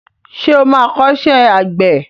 Ṣé o má kọ́ṣẹ́ àgbẹ̀ ẹ?